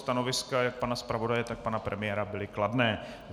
Stanoviska jak pana zpravodaje, tak pana premiéra byla kladná.